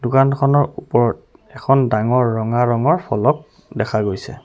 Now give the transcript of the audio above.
দোকানখনৰ ওপৰত এখন ডাঙৰ ৰঙা ৰঙৰ ফলক দেখা গৈছে।